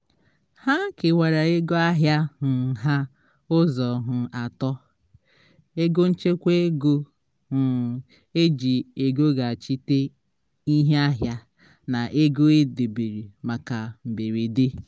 ha kewara ego ahịa um ha ụzọ um atọ: ego nchekwa ego um eji egoghachite ihe ahịa na ego e dobere maka mberede